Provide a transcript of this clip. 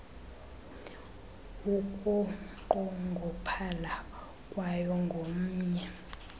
ukunqongophala kwayo ngomnye